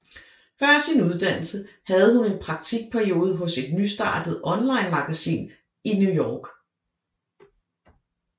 Før sin uddannelse havde hun en praktikperiode hos et nystartet onlinemagasin i New York